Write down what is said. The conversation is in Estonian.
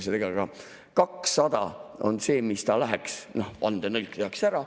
Seega 200 on see, mis ta saaks, vandetõlge tehakse ära.